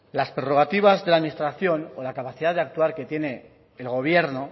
las prorrogativas de la administración con la capacidad de actuar que tiene el gobierno